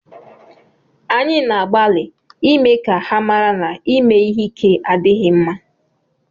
Anyị na-agbalị ịme ka ha mara na ịme ihe ike adịghị mma